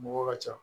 Mɔgɔw ka ca